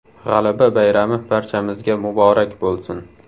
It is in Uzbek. G‘alaba bayrami barchamizga muborak bo‘lsin!